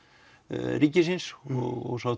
ríkisins og